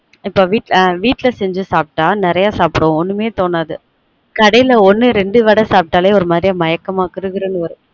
வீட்ல செஞ்சு சாப்டா நெறய சாப்டுவொம் ஒன்னுமே தோனாது கடைல ஒன்னு ரெண்டு வட சாப்ட்டலே ஒரு மாரியா மயக்க்மா கிறுகிறு நு வரும்